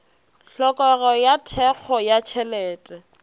tlhokego ya thekgo ya tšhelete